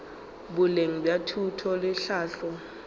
boleng bja thuto le tlhahlo